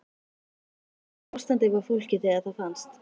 En í hvernig ástandi var fólkið þegar það fannst?